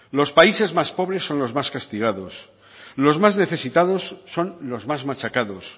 los países más pobres son los más castigados los más necesitados son los más machacados